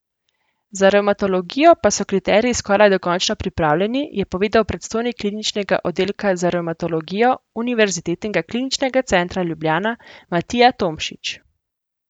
Za revmatologijo pa so kriteriji skoraj dokončno pripravljeni, je povedal predstojnik Kliničnega oddelka za revmatologijo Univerzitetnega kliničnega centra Ljubljana Matija Tomšič.